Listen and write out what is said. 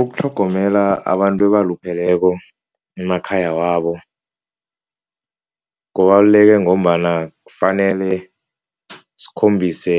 Ukutlhogomela abantu abalupheleko emakhaya wabo kubaluleke ngombana kufanele sikhombise